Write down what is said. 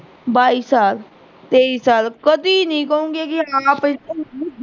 ਬਾਈ ਸਾਲ, ਤੇਈ ਸਾਲ ਕਦੀ ਨੀਂ ਕਊਂਗੀ ਕਿ